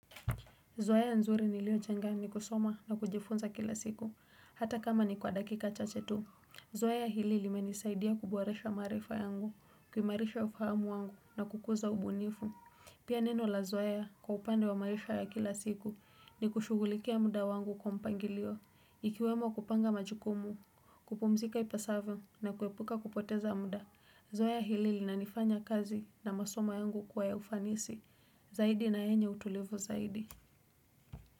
Zoea nzuri ni lioshangaa ni kusoma na kujifunza kila siku. Hata kama ni kwa dakika chachetu. Zoea hili li menisaidia kuboresha maarifa yangu, kuimarisha ufahamu wangu na kukuza ubunifu. Pia neno la zoea kwa upande wa maisha ya kila siku ni kushugulikia muda wangu kwa mpangilio. Ikiwemo kupanga majukumu, kupumzika ipasavo na kuepuka kupoteza muda. Zoea hili li nanifanya kazi na masomo yangu kuwa ya ufanisi. Zaidi na yenye utulivu zaidi.